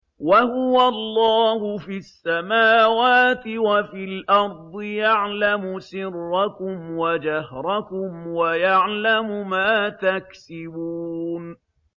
وَهُوَ اللَّهُ فِي السَّمَاوَاتِ وَفِي الْأَرْضِ ۖ يَعْلَمُ سِرَّكُمْ وَجَهْرَكُمْ وَيَعْلَمُ مَا تَكْسِبُونَ